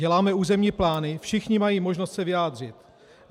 Děláme územní plány, všichni mají možnost se vyjádřit.